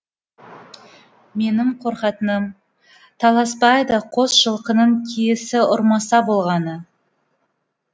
менің қорқатыным таласбайды қос жылқының киесі ұрмаса болғаны